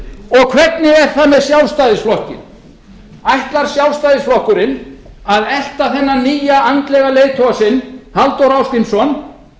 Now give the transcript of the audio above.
það hvernig er það með sjálfstæðisflokkinn ætlar sjálfstæðisflokkurinn að elta þennan nýja andlega leiðtoga sinn halldór ásgrímsson